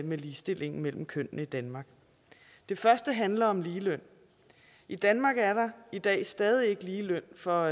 med ligestillingen mellem kønnene i danmark det første handler om ligeløn i danmark er der i dag stadig ikke ligeløn for